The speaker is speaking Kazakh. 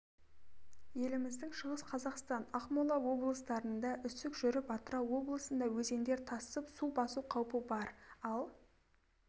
еліміздің шығыс қазақстан ақмола облыстарында үсік жүріп атырау облысында өзендер тасып су басу қаупі бар ал